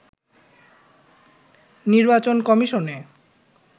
নির্বাচন কমিশনে